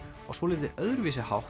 á svolítið öðruvísi hátt